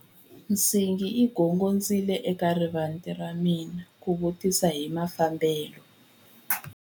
Nsingi yi gongondzile eka rivanti ra hina ku vutisa hi mafambelo.